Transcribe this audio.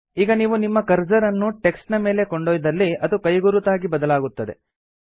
ಈಗ ನೀವು ನಿಮ್ಮ ಕರ್ಸರ್ ಅನ್ನು ಟೆಕ್ಸ್ಟ್ ನ ಮೇಲೆ ಕೊಂಡೊಯ್ದಲ್ಲಿ ಅದು ಕೈಗುರುತಾಗಿ ಬದಲಾಗುತ್ತದೆ